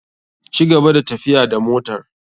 Cigaba da tafiya da motar.